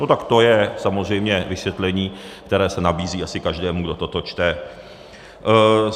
No tak to je samozřejmě vysvětlení, které se nabízí asi každému, kdo toto čte.